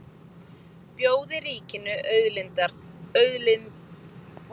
Bjóði ríkinu auðlindirnar